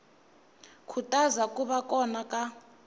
khutaza ku va kona ka